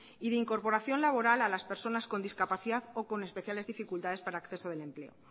y de incorporación laboral a las personas con discapacidad o con especiales dificultades para el acceso del empleo